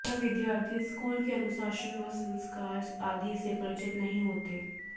यह विद्यार्थी school के अनुशासन व संस्कार आदि से परिचित नहीं होते